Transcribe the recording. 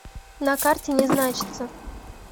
на карте не значится